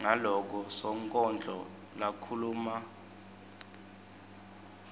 ngaloko sonkondlo lakhuluma